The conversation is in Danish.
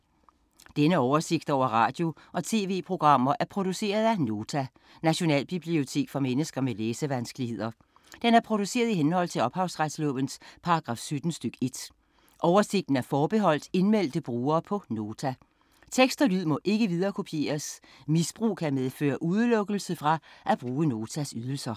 Denne oversigt over radio og TV-programmer er produceret af Nota, Nationalbibliotek for mennesker med læsevanskeligheder. Den er produceret i henhold til ophavsretslovens paragraf 17 stk. 1. Oversigten er forbeholdt indmeldte brugere på Nota. Tekst og lyd må ikke viderekopieres. Misbrug kan medføre udelukkelse fra at bruge Notas ydelser.